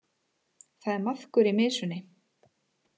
Það er maðkur í mysunni